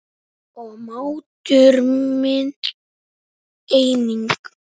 Og máttur minn einnig.